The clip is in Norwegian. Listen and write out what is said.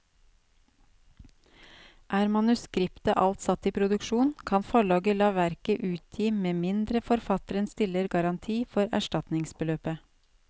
Er manuskriptet alt satt i produksjon, kan forlaget la verket utgi med mindre forfatteren stiller garanti for erstatningsbeløpet.